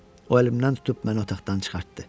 O əlimdən tutub məni otaqdan çıxartdı.